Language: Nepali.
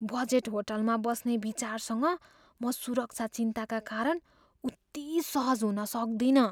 बजेट होटलमा बस्ने विचारसँग म सुरक्षा चिन्ताका कारण उति सहज हुन सक्दिनँ।